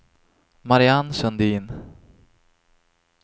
Mariann Sundin